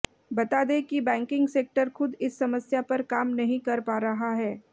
बता दें कि बैंकिंग सेक्टर खुद इस समस्या पर काम नहीं कर पा रहा है